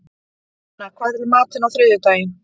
Hrefna, hvað er í matinn á þriðjudaginn?